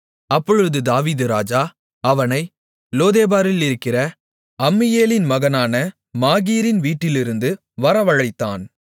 அப்பொழுது தாவீது ராஜா அவனை லோதேபாரிலிருக்கிற அம்மியேலின் மகனான மாகீரின் வீட்டிலிருந்து வரவழைத்தான்